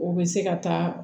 U bɛ se ka taa